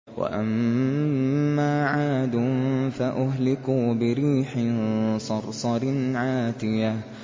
وَأَمَّا عَادٌ فَأُهْلِكُوا بِرِيحٍ صَرْصَرٍ عَاتِيَةٍ